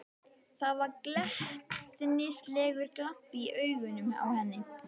Það var glettnislegur glampi í augunum á henni.